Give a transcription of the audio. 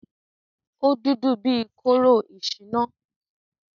Ó dúdú bí kóró ìṣìnà.